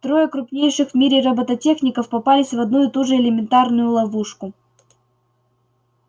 трое крупнейших в мире роботехников попались в одну и ту же элементарную ловушку